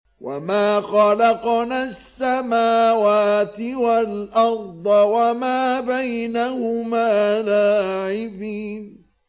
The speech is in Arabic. وَمَا خَلَقْنَا السَّمَاوَاتِ وَالْأَرْضَ وَمَا بَيْنَهُمَا لَاعِبِينَ